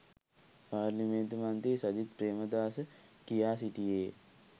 පාර්ලිමේන්තු මන්ත්‍රී සජිත් ප්‍රේමදාස කියා සිටියේ